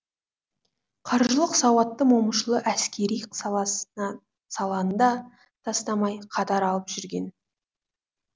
қаржылық сауатты момышұлы әскери саласына саланы да тастамай қатар алып жүрген